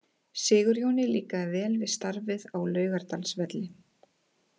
Sigurjóni líkar vel við starfið á Laugardalsvelli.